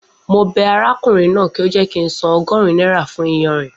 Mo bẹ arákùnrin náà kí ó jẹ́ kí ń san ogórun náírà fún iyanrìn